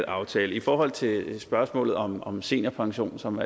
aftale i forhold til spørgsmålet om om seniorpension som